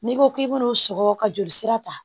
N'i ko k'i b'olu sɔgɔ ka joli sira ta